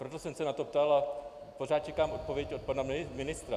Proto jsem se na to ptal a pořád čekám odpověď od pana ministra.